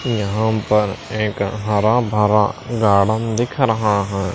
यहां पर एक हरा भरा गार्डन दिख रहा है।